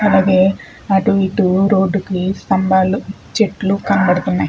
అలాగే అటు ఇటు రోడ్డు కి స్తంభాలు చెట్లు కనపడుతున్నాయ్.